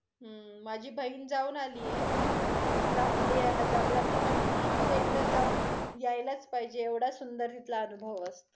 हम्म माझी बहिण जाऊन आली आहे, ल् लेह लदाखला ती म्हटली तू एकदा जाऊन यायलाच पाहिजे, एवढं सुंदर तिथला अनुभव असतो.